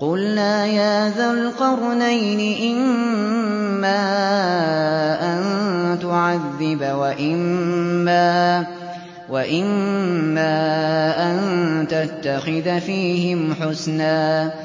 قُلْنَا يَا ذَا الْقَرْنَيْنِ إِمَّا أَن تُعَذِّبَ وَإِمَّا أَن تَتَّخِذَ فِيهِمْ حُسْنًا